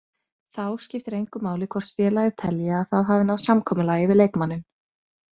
Þá skiptir engu máli hvort félagið telji að það hafi náð samkomulagi við leikmanninn.